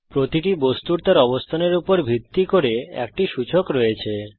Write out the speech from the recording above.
প্রতিটি বস্তুর তার অবস্থানের উপর ভিত্তি করে একটি সূচক রয়েছে